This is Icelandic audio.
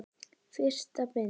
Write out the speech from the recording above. Fyrsta bindi.